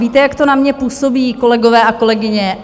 Víte, jak to na mě působí, kolegové a kolegyně?